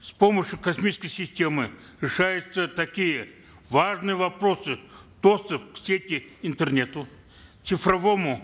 с помощью космической системы решаются такие важные вопросы доступ к сети интернет цифровому